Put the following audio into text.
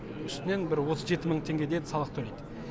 үстінен бір отыз жеті мың теңгедей салық төлейді